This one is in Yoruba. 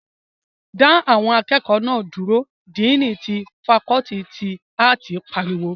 Dá àwọn akẹ́kọ̀ọ́ náà dúró! díìní ti fakọọti ti áàtì pariwo